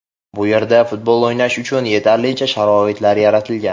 Bu yerda futbol o‘ynash uchun yetarlicha sharoitlar yaratilgan.